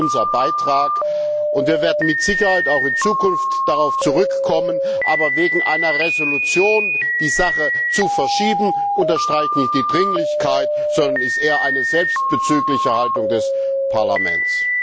Das ist unser Beitrag, und wir werden mit Sicherheit auch in Zukunft darauf zurückkommen. Wegen einer Entschließung die Sache jedoch zu verschieben, unterstreicht nicht die Dringlichkeit, sondern ist eher eine selbstbezügliche Haltung des Parlaments.